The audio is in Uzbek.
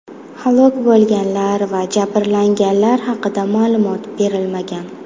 Halok bo‘lganlar va jabrlanganlar haqida ma’lumot berilmagan.